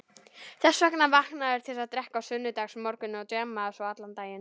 Þess vegna vakna þeir til að drekka á sunnudagsmorgnum og djamma svo allan daginn.